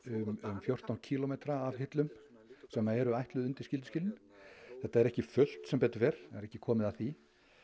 fjórtán kílómetra af hillum sem eru ætluð undir skylduskilin þetta er ekki fullt sem betur fer það er ekki komið að því